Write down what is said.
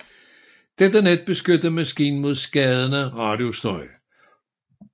Dette net beskyttede maskinen mod skadende radiostøj